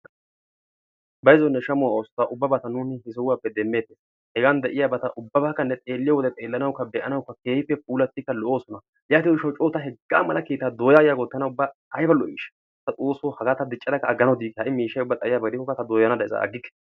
Bayzzonne shammo oosota ubbabata nuuni he sohuwappe demmetees. Hegan de'iyaabata ubbabbakka ne xeeliyo wode xeelanawukka be'anawukka puulattidi lo''oosona. Yaatiyo gishshaw co hegaa mala keetta dooyyagiyaako tana ubba lo''ishsha. Ta xoosso haga diccada aggikke ha'i miishshay ubba xayyiyaba gidikokka haga ta dooya day aggikke.